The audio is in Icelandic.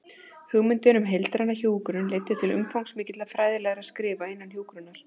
Hugmyndin um heildræna hjúkrun leiddi til umfangsmikilla fræðilegra skrifa innan hjúkrunar.